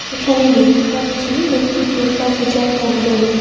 এখানে দেখতে পাচ্ছি একটি দুর্গা পূজার প্যান্ডেল ।